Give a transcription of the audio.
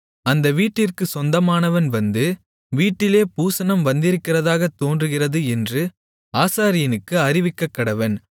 அந்த வீட்டிற்குச் சொந்தமானவன் வந்து வீட்டிலே பூசணம் வந்திருக்கிறதாகத் தோன்றுகிறது என்று ஆசாரியனுக்கு அறிவிக்கக்கடவன்